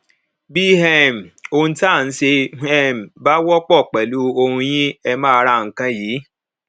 bí um ohun tá a nṣe um bá wọpọ pẹlú ohun yín ẹ máa ra nǹkan yìí